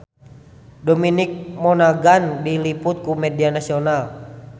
Dominic Monaghan diliput ku media nasional